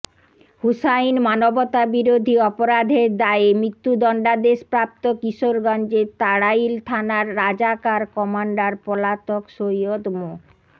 হুসাইন মানবতাবিরোধী অপরাধের দায়ে মৃত্যুদণ্ডাদেশপ্রাপ্ত কিশোরগঞ্জের তাড়াইল থানার রাজাকার কমান্ডার পলাতক সৈয়দ মো